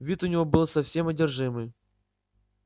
вид у него был совсем одержимый